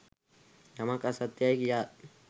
යමක් අසත්‍ය යැයි කියාත්